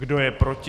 Kdo je proti?